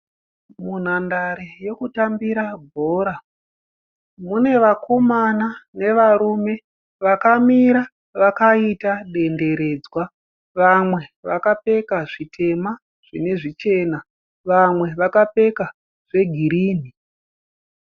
Munhandare yekutambira bhora mune vakomana nevarume vakamira vakaita denderedzwa. Vamwe vakapfeka zvitema zvine zvichena. Vamwe vakapfeka zvegirini.